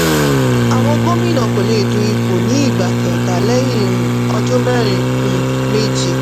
àwọn gómìnà kò lè du ipò ní ìgbà kẹ́ta lẹ́yìn um ọdún mẹ́rin um méjì.